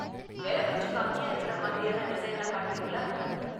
விலை கொஞ்சம் கம்மியா இருக்குற மாதிரியான டிசைன்லாம் காட்டுறீங்களா?